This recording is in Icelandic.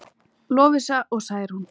Lovísa og Særún.